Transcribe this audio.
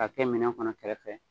Ka kɛ minɛn kɔnɔ kɛrɛfɛ.